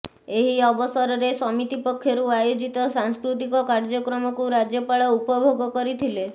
ଏହି ଅବସରରେ ସମିତି ପକ୍ଷରୁ ଆୟୋଜିତ ସାଂସ୍କୃତିକ କାର୍ଯ୍ୟକ୍ରମକୁ ରାଜ୍ୟପାଳ ଉପଭୋଗ କରିଥିଲେ